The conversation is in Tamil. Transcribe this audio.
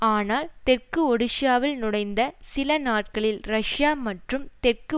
ஆனால் தெற்கு ஓடிஷ்ய நுழைந்த சில நாட்களில் ரஷ்யா மற்றும் தெற்கு